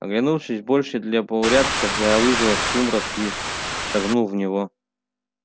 оглянувшись больше для порядка я вызвал сумрак и шагнул в него